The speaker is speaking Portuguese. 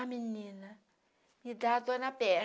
Ah, menina, me dá dor na perna.